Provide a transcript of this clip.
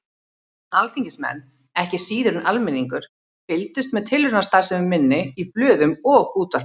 Alþingismenn, ekki síður en almenningur, fylgdust með tilraunastarfsemi minni í blöðum og útvarpi.